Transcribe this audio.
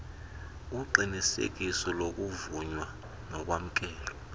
uqinisekiso lokuvunywa nokwamkelwa